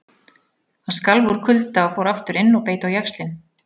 Hann skalf úr kulda og fór aftur inn og beit á jaxlinn.